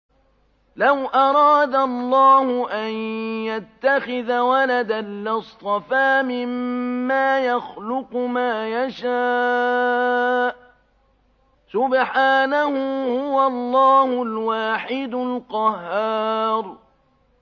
لَّوْ أَرَادَ اللَّهُ أَن يَتَّخِذَ وَلَدًا لَّاصْطَفَىٰ مِمَّا يَخْلُقُ مَا يَشَاءُ ۚ سُبْحَانَهُ ۖ هُوَ اللَّهُ الْوَاحِدُ الْقَهَّارُ